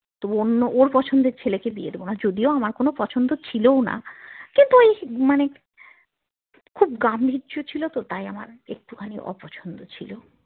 তবু অন্য ওর পছন্দের ছেলেকে বিয়ে দিবোনা যদিও আমার কোনো পছন্দ ছিলোও না কিন্তু ওই মানে খুব গাম্ভীর্য ছিল তো তাই আমার একটুখানি অপছন্দ ছিল